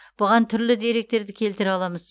бұған түрлі деректерді келтіре аламыз